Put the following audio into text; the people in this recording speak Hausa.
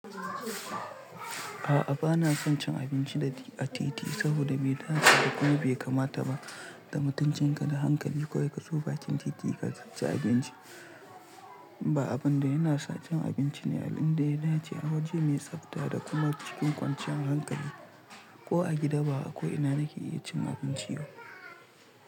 A'a bana son cin abinci a titi saboda bai dace da kuma bai kamata ba. Da mutuncin ka da hankali kawai kazo bakin titi ka ci abinci. Ba abin da yana sa cin abinci ne, abin da yana ce a waje mai tsafta da kuma cikin kwanciyan hankali ko a gida ba akwai ina nake iya cin abinci ba.